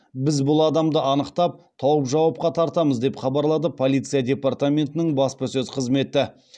біз бұл адамды анықтап тауып жауапқа тартамыз деп хабарлады полиция департаментінің баспасөз қызметі